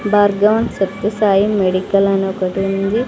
Bhargavan Sathyasai medical అని ఒకటి ఉంది.